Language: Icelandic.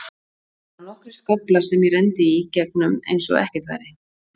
Það voru bara nokkrir skaflar sem ég renndi í gegnum eins og ekkert væri.